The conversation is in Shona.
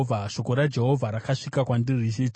Shoko raJehovha rakasvika kwandiri richiti,